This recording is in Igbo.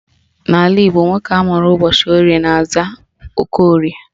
N'ala Igbo, nwoke amụrụ ụbọchị Orie na-aza Okorie